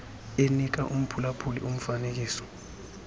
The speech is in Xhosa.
enika umphulaphuli umfanekiso